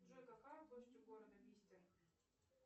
джой какая площадь у города бистер